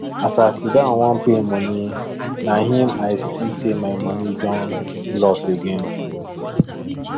as a siddon wan pay money na him i see say my money don loss again